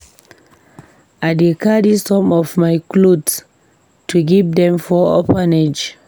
I dey carry some of my cloths go give dem for orphanage.